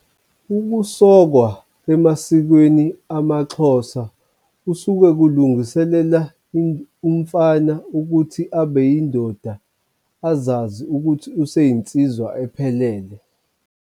Ukusokwa emasikweni amaXhosa kusuke kulungiselela umfana ukuthi abe yindoda azazi ukuthi useyinsizwa ephelele.